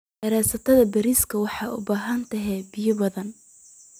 Beerista bariiska waxay u baahan tahay biyo badan.